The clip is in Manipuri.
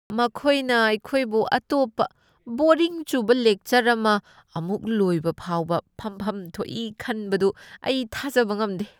ꯃꯈꯣꯏꯅ ꯑꯩꯈꯣꯏꯕꯨ ꯑꯇꯣꯞꯄ ꯕꯣꯔꯤꯡ ꯆꯨꯕ ꯂꯦꯛꯆꯔ ꯑꯃ ꯑꯃꯨꯛ ꯂꯣꯏꯕ ꯐꯥꯎꯕ ꯐꯝꯐꯝ ꯊꯣꯛꯏ ꯈꯟꯕꯗꯨ ꯑꯩ ꯊꯥꯖꯕ ꯉꯝꯗꯦ ꯫